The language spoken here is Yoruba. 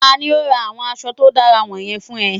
Tani o ra awọn aṣọ to dara wọnyẹn fun ọ?